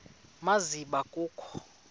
ma zibe kho